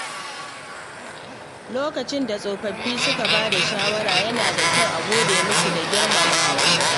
Lokacin da tsofaffi suka ba da shawara, yana da kyau a gode musu da girmamawa.